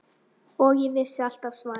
Og ég vissi alltaf svarið.